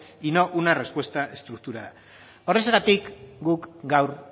y no una respuesta estructurada horrexegatik guk gaur